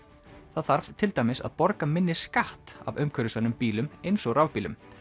það þarf til dæmis að borga minni skatt af umhverfisvænum bílum eins og rafbílum